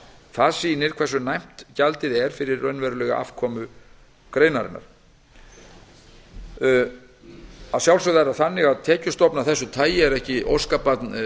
það sýnir hversu næmt gjaldið er fyrir raunverulega afkomu greinarinnar að sjálfsögðu er tekjustofn af þessu tagi ekki óskabarn